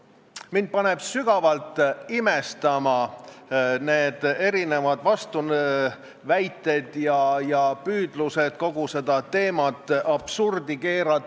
Kui selle eelnõu menetlus läheks edasi, siis kaasettekandja ütleks teile viisakalt, mis ajaks on vaja esitada muudatusettepanekud, ja me saaksime edasi minna aruteluga, kas me eraldame juriidilised isikud füüsilistest isikutest näiteks kümne- või seitsmekordse vahega, kas kellelgi summa jääb samaks jms.